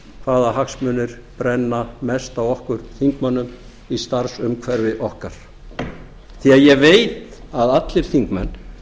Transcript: hvaða hagsmunir brenna mest á okkur þingmönnum í starfsumhverfi okkar því ég veit að allir þingmenn